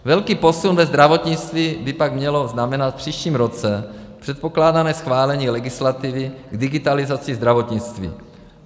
Velký posun ve zdravotnictví by pak mělo znamenat v příštím roce předpokládané schválení legislativy k digitalizaci zdravotnictví.